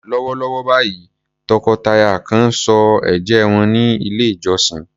Lọ́wọ́lọ́wọ́ báyìí, tọkọ-tìyàwó kan ń sọ ẹ̀jẹ́ wọn ní ilé-ìjọsìn.